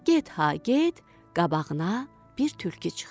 Get ha get, qabağına bir tülkü çıxdı.